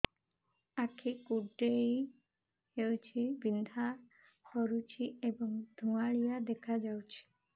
ଆଖି କୁଂଡେଇ ହେଉଛି ବିଂଧା କରୁଛି ଏବଂ ଧୁଁଆଳିଆ ଦେଖାଯାଉଛି